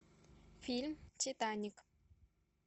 фильм титаник